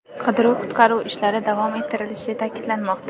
Qidiruv-qutqaruv ishlari davom ettirilishi ta’kidlanmoqda.